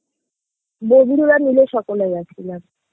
বন্ধুরা মিলে সকলে গেছিলাম